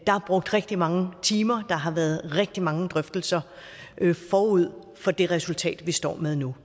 er brugt rigtig mange timer og har været rigtig mange drøftelser forud for det resultat vi står med nu